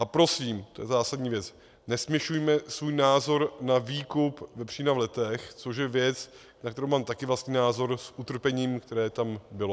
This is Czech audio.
A prosím, to je zásadní věc, nesměšujme svůj názor na výkup vepřína v Letech, což je věc, na kterou mám taky vlastní názor, s utrpením, které tam bylo.